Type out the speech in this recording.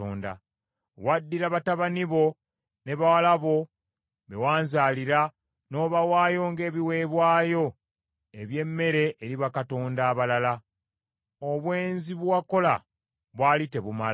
“ ‘Waddira batabani bo ne bawala bo be wanzaalira, n’obawaayo ng’ebiweebwayo eby’emmere eri bakatonda abalala. Obwenzi bwe wakola bwali tebumala?